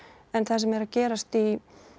það sem er að gerast í